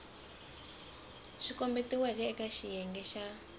swi kombetiweke eka xiyenge xa